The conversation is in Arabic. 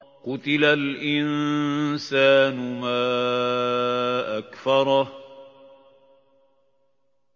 قُتِلَ الْإِنسَانُ مَا أَكْفَرَهُ